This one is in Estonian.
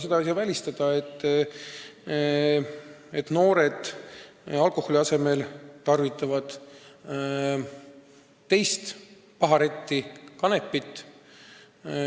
Seda ei saa välistada, et noored tarvitavad alkoholi asemel teist paharetti kanepit.